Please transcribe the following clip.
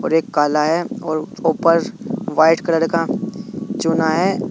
और एक काला है और ऊपर व्हाइट कलर का चुना है।